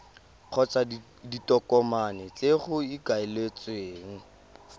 kgotsa ditokomane tse go ikaeletsweng